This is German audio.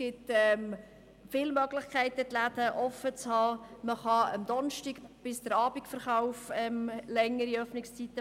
Man kann am Donnerstag bis am Abend länger verkaufen.